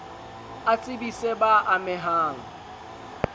a tsebise b a mehang